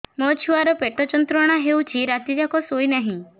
ମୋ ଛୁଆର ପେଟ ଯନ୍ତ୍ରଣା ହେଉଛି ରାତି ଯାକ ଶୋଇନାହିଁ